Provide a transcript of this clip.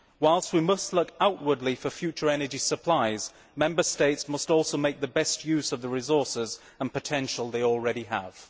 Whilst we must look outward for future energy supplies, Member States must also make the best use of the resources and potential they already have.